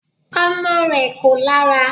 Ọmọ rẹ̀ kò lára